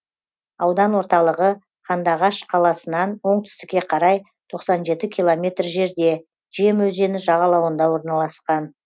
аудан орталығы қандыағаш қаласынан оңтүстікке қарай тоқсан жеті километр жерде жем өзені жағалауында орналасқан